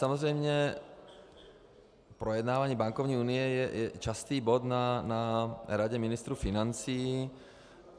Samozřejmě projednávání bankovní unie je častý bod na Radě ministrů financí.